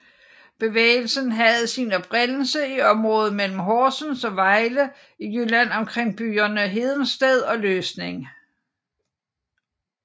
Bevægelsen havde sin oprindelse i området mellem Horsens og Vejle i Jylland omkring byerne Hedensted og Løsning